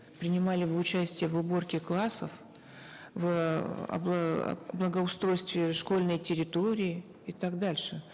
принимали бы участие в уборке классов в благоустройстве школьной территории и так дальше